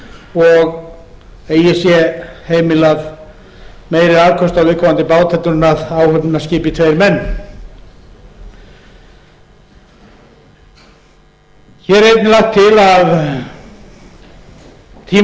og eigi sé heimilað meiri afköst af viðkomandi bát heldur en áhöfnina skipi tveir menn hér er einnig lagt til